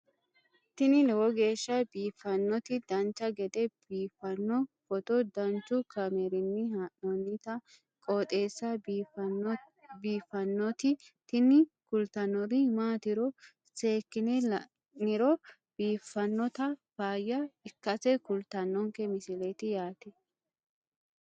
tini lowo geeshsha biiffannoti dancha gede biiffanno footo danchu kaameerinni haa'noonniti qooxeessa biiffannoti tini kultannori maatiro seekkine la'niro biiffannota faayya ikkase kultannoke misileeti yaate